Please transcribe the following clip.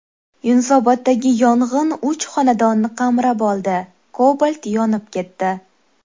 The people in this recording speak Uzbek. Yunusoboddagi yong‘in uch xonadonni qamrab oldi, Cobalt yonib ketdi.